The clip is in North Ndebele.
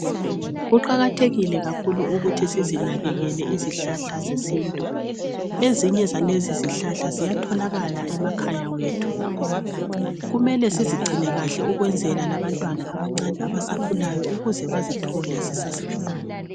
Kuqakathekile kakhulu ukuthi sizinakekele izihlahla zesintu ezinye zalezi zihlahla ziyatholakala emakhaya wethu kumele sizigcine kakhe ukwenzela labantwana abancane abasakhulayo ukuze bazithole zisase